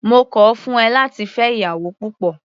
Mo kọ̀ ọ́ fún ẹ láti fẹ́ ìyàwó púpọ̀.